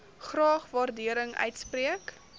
graag waardering uitspreek